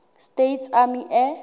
states army air